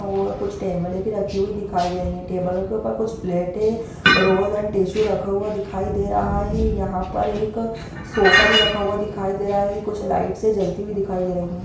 और कुछ टेबले भी दिखाई दे रही है टेबलो के ऊपर कुछ पलेटें रोज़ एण्ड टिशू रखा दिखाई दे रहा है यहाँ पर एक सोफ़ा भी रखा हुआ दिखाई दे रहा है कुछ लाइटस है जलती हुई दिखाई दे रही है।